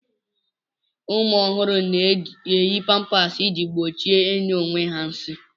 ụmụ ọhụrụ na-eyi pampers iji gbochie ịnyụ onwe ha nsị